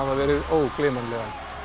verið ógleymanlegan